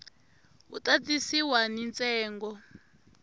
wu ta tisiwa ni ntsengo